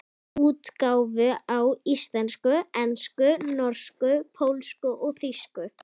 Útgáfur á íslensku, ensku, norsku, pólsku og þýsku.